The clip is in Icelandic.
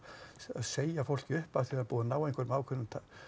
segja fólki upp af því að það er búið að ná einhverjum ákveðnum